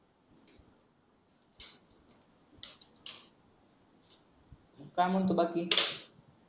काय म्हणतो बाकी